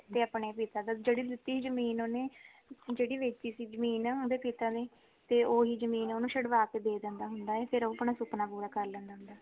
ਤੇ ਆਪਣੇ ਪਿਤਾ ਦਾ ਜੇੜੀ ਲੀਤੀ ਜਮੀਨ ਓਹਨੇ ਜੇੜੀ ਵੇਚੀ ਸੀ ਜਮੀਨ ਓਹਦੇ ਪਿਤਾ ਨੇ ਤੇ ਓਹੀ ਜਮੀਨ ਓਨੁ ਛੜਵਾ ਕੇ ਦੇਂਦੇਂਦਾਂ ਹੇਨਾ ਤੇ ਫੇਰ ਉਹ ਆਪਣਾ ਸੁਪਨਾ ਪੂਰਾ ਕਰ ਲੈਂਦਾ